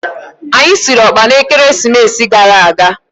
Anyi siri ọkpa na Ekeresimesi gara aga.